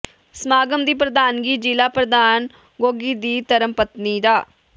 ਸਮਾਗਮ ਦੀ ਪ੍ਰਧਾਨਗੀ ਜ਼ਿਲ੍ਹਾ ਪ੍ਰਧਾਨ ਗੋਗੀ ਦੀ ਧਰਮਪਤਨੀ ਡਾ